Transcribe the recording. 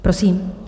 Prosím.